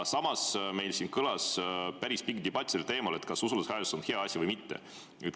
Samas kõlas meil siin päris pikk debatt teemal, kas usaldushääletus on hea või mitte.